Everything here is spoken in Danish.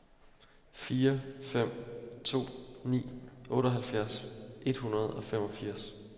fire fem to ni otteoghalvfjerds et hundrede og femogfirs